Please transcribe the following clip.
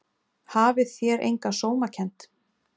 Hafið þér enga sómakennd?